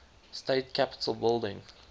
state capitol building